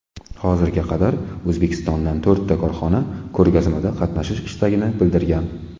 Hozirga qadar O‘zbekistondan to‘rtta korxona ko‘rgazmada qatnashish istagini bildirgan.